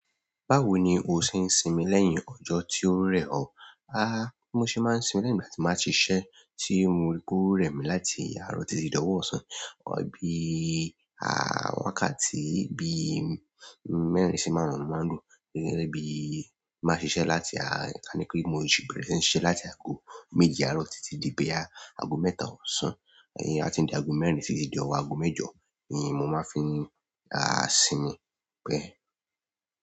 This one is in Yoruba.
Báwo ni o ṣe ń sinmi lẹ́yìn ọjọ́ tí ó rẹ̀ ọ́? A, mo ṣe máa ń sinmi lẹ́yìn ìgbà tí màá ti ṣiṣẹ́ tí mo rí pé ó rẹ̀ mí láti árọ̀ọ̀ títí di ọ̀wọ̀ ọ̀sán. Ọ̀ bí à wákàtí bí mẹ́rin sì máàrún ni mo máa ń dúró. Gẹ́gẹ́ bí máa ṣe ṣẹ́ láti a, kí n pé mo jù bẹ̀rẹ̀ sí ní ṣe láti ago méje àárọ̀ títí di bóyá, ago mẹ́ta ọ̀sán, a tí ń di ago mẹ́rin títí di ọ̀wọ̀ ago mẹ́jọ, mo máa ń fi àá sinmi bẹ́ẹ̀.